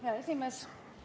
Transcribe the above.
Hea esimees!